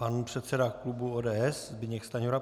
Pan předseda klubu ODS Zbyněk Stanjura.